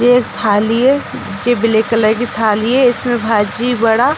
ये एक थाली है जो ब्लैक कलर की थाली है इसमे भाजी बड़ा --